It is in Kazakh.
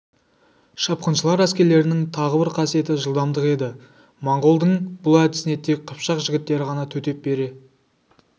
шапқыншылар әскерлерінің тағы бір қасиеті жылдамдығы еді монғолдың бұл әдісіне тек қыпшақ жігіттері ғана төтеп бере